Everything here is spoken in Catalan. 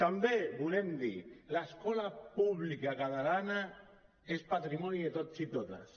també volem dir l’escola pública catalana és patrimoni de tots i totes